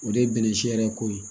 O de ye bɛnɛ si yɛrɛ ko ye